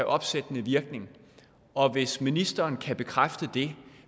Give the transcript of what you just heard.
opsættende virkning og hvis ministeren kan bekræfte det